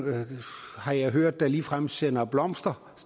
har jeg hørt der ligefrem sender blomster